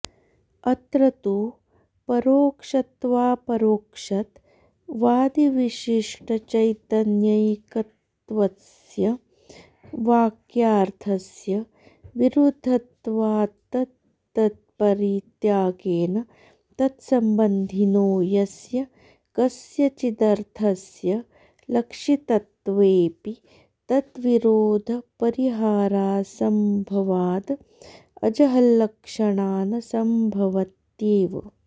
अत्र तु परोक्षत्वापरोक्षत्वादिविशिष्टचैतन्यैकत्वस्य वाक्यार्थस्य विरुद्धत्वात्तदपरित्यागेन तत्सम्बन्धिनो यस्य कस्यचिदर्थस्य लक्षितत्वेऽपि तद्विरोधपरिहारासम्भवाद् अजहल्लक्षणा न सम्भवत्येव